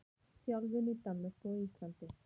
Þjálfun í Danmörku og Íslandi.